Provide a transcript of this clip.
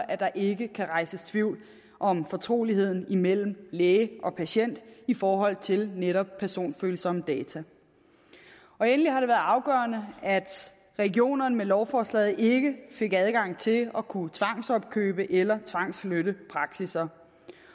at der ikke kan rejses tvivl om fortroligheden mellem læge og patient i forhold til netop personfølsomme data endelig har det været afgørende at regionerne med lovforslaget ikke fik adgang til at kunne tvangsopkøbe eller tvangsflytte praksisser